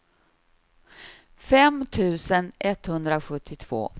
fem tusen etthundrasjuttiotvå